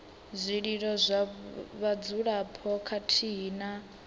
zwililo zwa vhadzulapo khathihi na